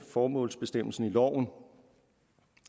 formålsbestemmelsen i loven